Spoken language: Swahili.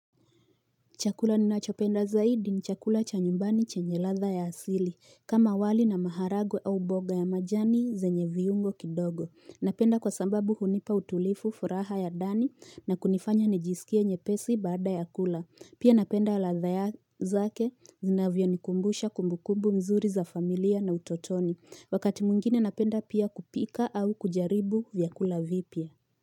Chakula ninachopenda zaidi ni chakula cha nyumbani chenye ladha ya asili kama wali na maharagwe au boga ya majani zenye viungo kidogo. Napenda kwa sababu hunipa utulifu furaha ya dani na kunifanya nejisikia nyepesi baada ya kula. Pia napenda ladha ya zake zinavyo nikumbusha kumbukumbu mzuri za familia na utotoni. Wakati mwingine napenda pia kupika au kujaribu vyakula vipya.